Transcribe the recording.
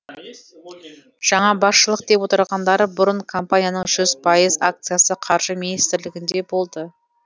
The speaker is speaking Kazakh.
жаңа басшылық деп отырғандары бұрын компанияның жүз пайыз акциясы қаржы министрлігінде болды